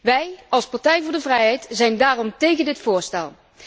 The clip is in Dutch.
Wij, als Partij voor de Vrijheid, zijn daarom tegen dit voorstel.